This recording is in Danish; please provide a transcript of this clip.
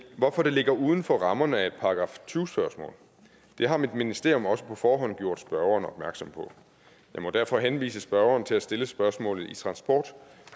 hvorfor det ligger uden for rammerne af et § tyve spørgsmål det har mit ministerium også på forhånd gjort spørgeren opmærksom på jeg må derfor henvise spørgeren til at stille spørgsmålet i transport